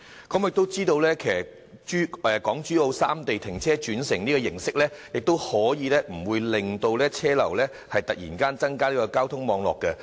我們知道港珠澳三地泊車轉乘安排，可以令車流不會忽然增加交通網絡的負荷。